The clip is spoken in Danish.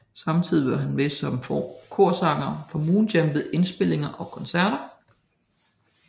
Samtidigt var han med som korsanger for Moonjam ved indspilninger og koncerter